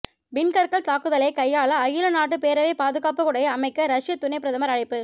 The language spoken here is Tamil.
விண்கற்கள் தாக்குதலைக் கையாள அகில நாட்டு பேரவைப் பாதுகாப்புக் குடையை அமைக்க ரஷ்யத் துணைப் பிரதமர் அழைப்பு